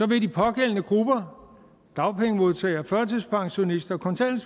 vil de pågældende grupper dagpengemodtagere førtidspensionister